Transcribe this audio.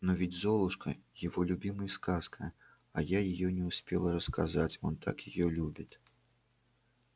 но ведь золушка его любимый сказка а я её не успела рассказать он так её любит